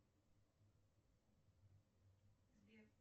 сбер